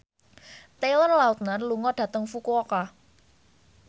Taylor Lautner lunga dhateng Fukuoka